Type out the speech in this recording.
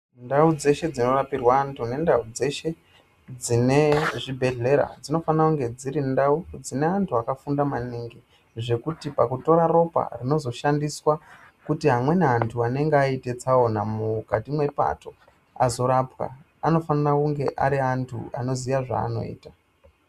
Ndau dzeshe dzinorapirwa antu nendau dzeshe dzine zvibhehlera dzinofana kunge dziri ndau dzine antu akafunda maningi zvekuti pakutora ropa rinozoshandiswa kuti amweni antu anenge aite tsaona mukati mwepato azorapwa anofanira kunge ari antu anoziya zvaaanoita.